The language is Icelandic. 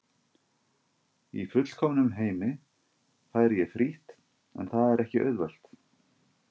Í fullkomnum heimi færi ég frítt en það er ekki auðvelt.